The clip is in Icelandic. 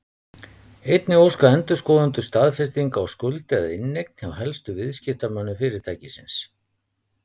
Einnig óska endurskoðendur staðfestinga á skuld eða inneign hjá helstu viðskiptamönnum fyrirtækisins.